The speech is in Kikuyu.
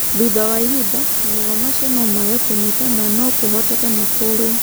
Thutha wa ihinda, magego macio no maage kũnyita na no kũhotekeke makũrũo.